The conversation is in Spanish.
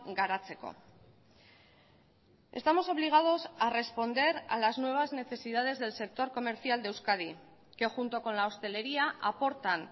garatzeko estamos obligados a responder a las nuevas necesidades del sector comercial de euskadi que junto con la hostelería aportan